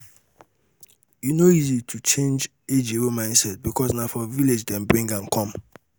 e no go easy to change ejiro mindset because na for village dem bring am come